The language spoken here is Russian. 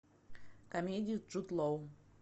комедию с джуд лоу